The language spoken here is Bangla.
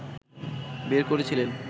বের করেছিলেন